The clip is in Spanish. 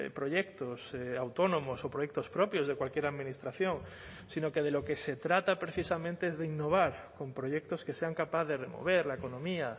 proyectos autónomos o proyectos propios de cualquier administración sino que de lo que se trata precisamente es de innovar con proyectos que sean capaz de remover la economía